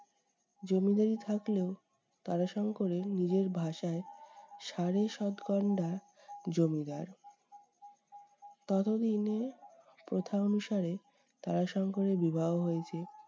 জমিদারি থাকলেও তারাশঙ্করের নিজের ভাষায় সাড়ে সাত গন্ডা জমিদার। ততদিনে প্রথা অনুযায়ী তারাশঙ্করের বিবাহ হইয়াছে।